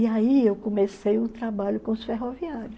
E aí eu comecei o trabalho com os ferroviários.